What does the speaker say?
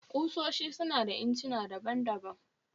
Ƙusoshi su na da incina daban-daban